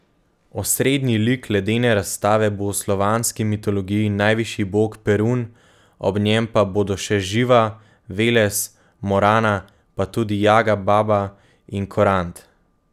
Osrednji lik ledene razstave bo v slovanski mitologiji najvišji bog Perun, ob njem pa bodo še Živa, Veles, Morana, pa tudi Jaga Baba in Korant.